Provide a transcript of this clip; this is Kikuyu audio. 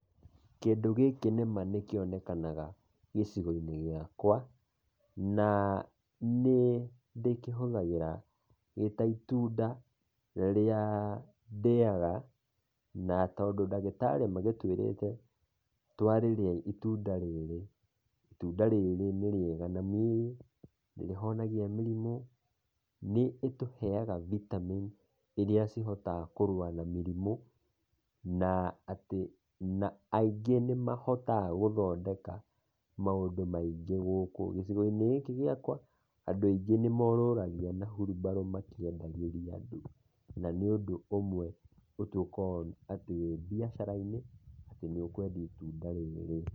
Kĩndũ gĩkĩ nĩ ma nĩkĩonekanaga gĩcigo-inĩ gĩakwa na nĩndĩkĩhũthagĩra gĩ ta itunda rĩa ndĩaga na tondũ ndagĩtarĩ magĩtũĩrĩte twarĩrĩa itunda rĩrĩ, itunda rĩrĩ nĩ rĩega na mĩĩrĩ, nĩrĩhonagia mĩrimũ, nĩ ĩtũheaga vitamin ĩrĩa cihotaga kũrũa na mĩrimũ na atĩ aingĩ nĩ mahotaga gũthondeka maũndũ maingĩ gũkũ gĩcigo-inĩ gĩkĩ gĩakwa, andũ aingĩ nĩ morũragia na wheelbarrow makĩendagĩria andũ na nĩ ũndũ ũmwe ũtũkoo atĩ wĩ mbiacara-inĩ atĩ nĩ ũkwendia itunda rĩrĩ.